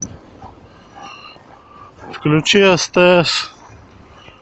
включи стс